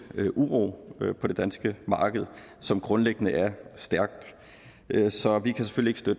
uro på det danske marked som grundlæggende er stærkt så vi kan selvfølgelig